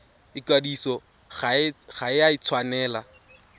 ikwadiso ga e a tshwanela